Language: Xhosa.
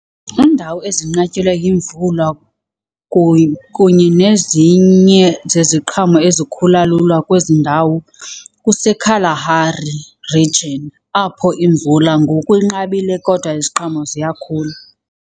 Iindawo ezinqatyelwa yimvula kunye nezinye zeziqhamo ezikhula lula kwezi ndawo kuseKalahari region apho imvula ngoku inqabile kodwa iziqhamo ziyakhula.